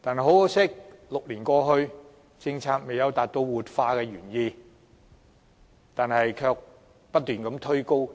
可惜 ，6 年過去，政策未能達到活化工廈的原意，反而令租金不斷被推高。